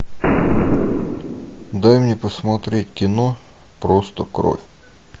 дай мне посмотреть кино просто кровь